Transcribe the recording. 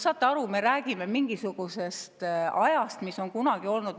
Saate aru, me räägime mingisugusest ajast, mis on kunagi varem olnud.